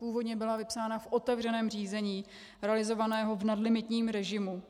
Původně byla vypsána v otevřeném řízení realizovaném v nadlimitním režimu.